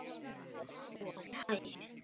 ekki einu sinni finnsk horn.